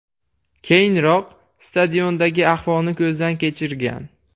Keyinroq, stadiondagi ahvolni ko‘zdan kechirgan.